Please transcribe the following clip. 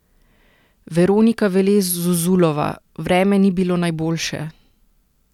Veronika Velez Zuzulova: "Vreme ni bilo najboljše.